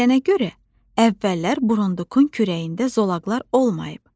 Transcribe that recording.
Deyilənə görə, əvvəllər burundukun kürəyində zolaqlar olmayıb.